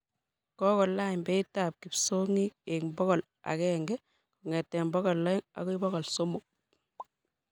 Kokolany beit ab kipsongik eng pokol aenge kongetee pokol aeng' akoi pokol somok